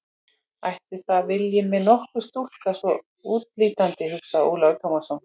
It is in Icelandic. Ætli það vilji mig nokkur stúlka svona útlítandi, hugsaði Ólafur Tómasson.